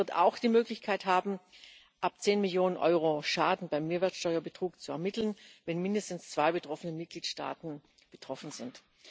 Sie wird auch die Möglichkeit haben, ab zehn Millionen Euro Schaden bei Mehrwertsteuerbetrug zu ermitteln, wenn mindestens zwei Mitgliedstaaten betroffen sind.